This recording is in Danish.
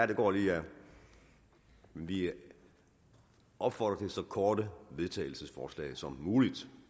det går lige vi opfordrer til så korte vedtagelsesforslag som muligt